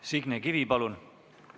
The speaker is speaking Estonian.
Signe Kivi, palun!